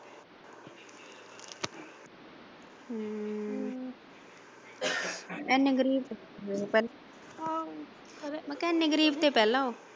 ਹਮ ਇੰਨੇ ਗਰੀਬ ਤ ਪਹਿਲਾਂ ਮੈਂ ਕਿਹਾ ਇੰਨੇ ਗਰੀਬ ਤਾਂ ਪਹਿਲਾਂ ਆ।